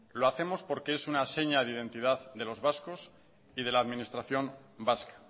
lo hacemos porque es una seña de identidad de los vascos y de las administración vasca